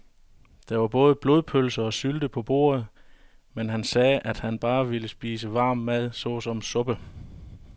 Der var både blodpølse og sylte på bordet, men han sagde, at han bare ville spise varm mad såsom suppe.